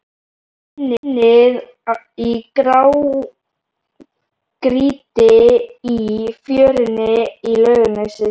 Unnið í grágrýti í fjörunni í Laugarnesi